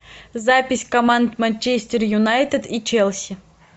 запись команд манчестер юнайтед и челси